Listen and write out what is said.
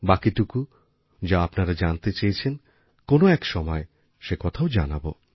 বাকিটুকু যা আপনারা জানতে চেয়েছেন কোনো একসময়ে সে কথাও জানাবো